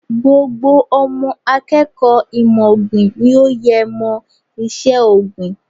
Gbogbo ọmọ akẹ́kọ̀ọ́ ìmọ̀ ọ̀gbìn ni ó yẹ mọ iṣẹ́ ọ̀gbìn.